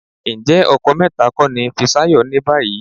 Ǹjẹ́ ọkọ mẹ́ta kọ́ ni Fisáyọ̀ ní báyìí?